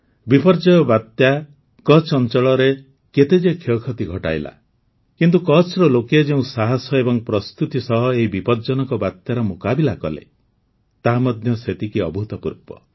ବିପର୍ଯ୍ୟୟ ବାତ୍ୟା କଚ୍ଛ୍ ଅଂଚଳରେ କେତେ ଯେ କ୍ଷୟକ୍ଷତି ଘଟାଇଲା କିନ୍ତୁ କଚ୍ଛ୍ର ଲୋକେ ଯେଉଁ ସାହସ ଏବଂ ପ୍ରସ୍ତୁତି ସହ ଏହି ବିପଜ୍ଜନକ ବାତ୍ୟାର ମୁକାବିଲା କଲେ ତାହା ମଧ୍ୟ ସେତିକି ଅଭୂତପୂର୍ବ